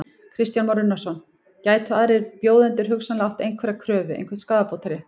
Kristján Már Unnarsson: Gætu aðrir bjóðendur hugsanlega átt einhverja kröfu, einhvern skaðabótarétt?